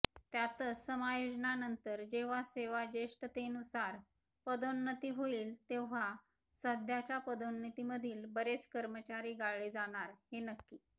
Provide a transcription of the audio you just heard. त्यातच समायोजनानंतर जेव्हा सेवाजेष्ठतेनुसार पदोन्नती होईल तेव्हा सध्याच्या पदोन्नतीमधील बरेच कर्मचारी गाळले जाणार हे नक्की